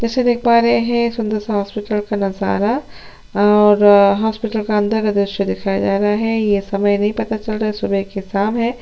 जैसे देख पा रहे है सुन्दर सा हॉस्पिटल का नजारा और हॉस्पिटल का अंदर का दृश्य दिखाया जा रहा है। ये समय नहीं पता चल रहा सुबहे की शाम है।